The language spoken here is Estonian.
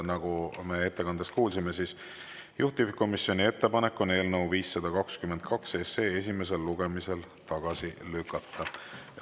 Nagu me ettekandest kuulsime, on juhtivkomisjoni ettepanek eelnõu 522 esimesel lugemisel tagasi lükata.